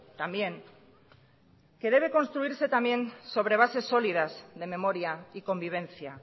también que debe construirse también sobre bases sólidas de memoria y convivencia